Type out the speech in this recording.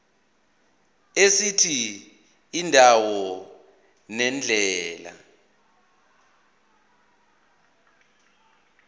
esithi indawo nendlela